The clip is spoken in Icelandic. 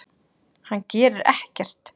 Hann gerir ekkert!